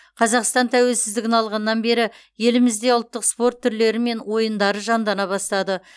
қазақстан тәуелсіздігін алғаннан бері елімізде ұлттық спорт түрлері мен ойындары жандана бастады